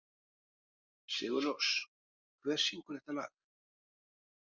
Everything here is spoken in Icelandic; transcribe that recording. Sigurrós, hver syngur þetta lag?